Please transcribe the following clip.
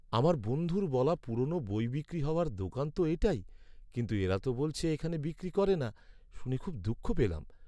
আমার বন্ধুর বলা পুরোনো বই বিক্রি হওয়ার দোকান তো এটাই, কিন্তু এরা তো বলছে এখানে বিক্রি করে না। শুনে খুব দুঃখ পেলাম।